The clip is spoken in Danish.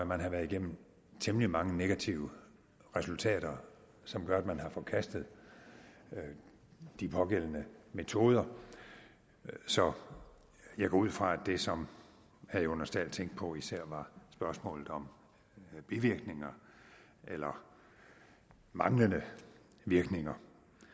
man har været igennem temmelig mange negative resultater som gør at man har forkastet de pågældende metoder så jeg går ud fra at det som herre jonas dahl tænkte på især var spørgsmålet om bivirkninger eller manglende virkninger